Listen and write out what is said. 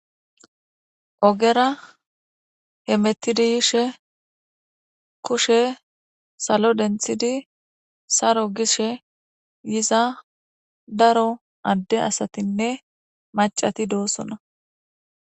Ogera hemetidi yishe kushe salo denthidi saro gishe yiza daro adde asatinne maccati doosona.